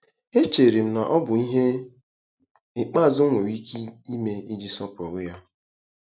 Echere m na ọ bụ ihe ikpeazụ m nwere ike ime iji sọpụrụ ya. ”